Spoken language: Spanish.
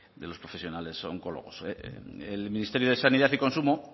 de los profesionales oncólogos el ministerio de sanidad y consumo